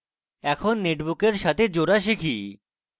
এখন নেটবুকের সাথে জোড়া শিখি